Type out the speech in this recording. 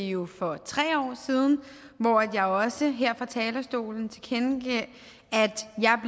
det jo for tre år siden hvor jeg også her fra talerstolen tilkendegav at